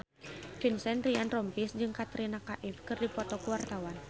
Vincent Ryan Rompies jeung Katrina Kaif keur dipoto ku wartawan